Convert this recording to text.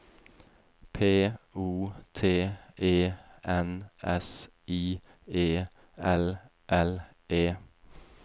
P O T E N S I E L L E